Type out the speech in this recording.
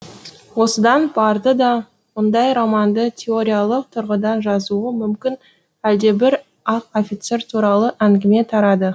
осыдан барды да мұндай романды теориялық тұрғыдан жазуы мүмкін әлдебір ақ офицер туралы әңгіме тарады